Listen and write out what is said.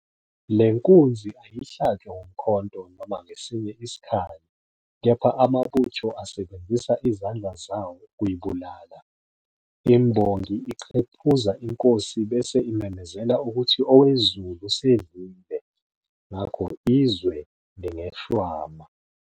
Le nkunzi ayihlatshwa ngomkhonto noma ngesinye isikhali kepha amabutho asebenzisa izandla zawo ukuyibulala. Imbongi iqephuza inkosi bese imemezela ukuthi owezulu usedlile, ngakho izwe lingeshwama.